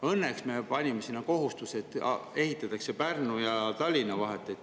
Õnneks me võtsime kohustuse ehitada see Pärnu ja Tallinna vahele.